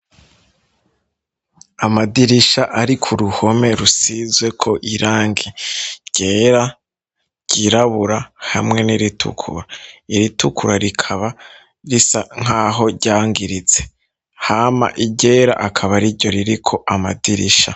Amadirisha ari ko ruhome rusizwe ko irangi ryera ryirabura hamwe n'iritukura iritukura rikaba risa nkaho ryangiritse hama iryera akaba ariryo ririko amadirisha.